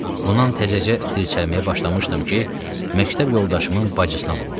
Bundan təzəcə dirçəlməyə başlamışdım ki, məktəb yoldaşımın bacısına vuruldum.